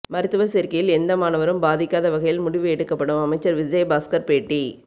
மருத்துவ சேர்க்கையில் எந்த மாணவரும் பாதிக்காத வகையில் முடிவு எடுக்கப்படும் அமைச்சர் விஜயபாஸ்கர் பேட்டி